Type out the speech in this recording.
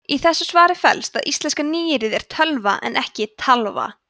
í þessu svari felst að íslenska nýyrðið er tölva en ekki talva